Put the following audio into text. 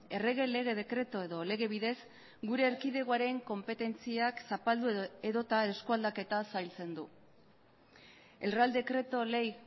errege lege dekretu edo lege bidez gure erkidegoaren konpetentziak zapaldu edota eskua aldaketaz zailtzen du el real decreto ley